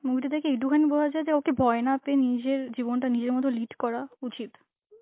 movie টা দেখে একটুখানি বলা যায় যে ওকে ভয় না পেয়ে নিজের জীবনটা নিজের মতন lead করা উচিত.